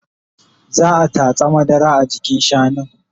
Za'a tatsa madara a jikin shanun